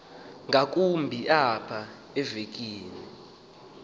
ngakumbi apha evekini